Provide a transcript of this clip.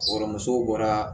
Kɔrɔmuso bɔra